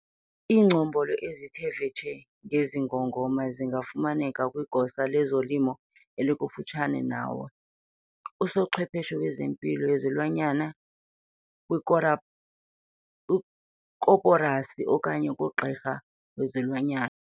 Iingcombolo ezithe vetshe ngezi ngongoma zingafumaneka kwigosa lezolimo elikufutshane nawe, usochwepheshe wempilo yezilwanyana, kwikoporasi okanye kugqirha wezilwanyana.